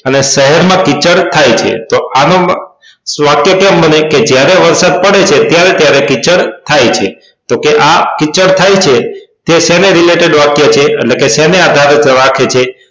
અને સડક માં કીચડ થાય છે તો આનું પણ વાક્ય કેમ બને કે જ્યારે વરસાદ પડે છે ત્યારે ત્યારે કીચડ થાય છે તો કે આ કીચડ થાય છે તે શેને related વાક્ય છે એટલે કે શેને આધારિત વાક્ય છે